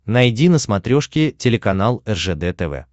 найди на смотрешке телеканал ржд тв